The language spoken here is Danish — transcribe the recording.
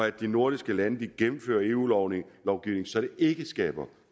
at de nordiske lande gennemfører eu lovgivningen så det ikke skaber